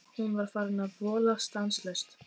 Hún var farin að vola stanslaust.